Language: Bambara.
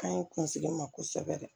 Ka ɲi kunsigi ma kosɛbɛ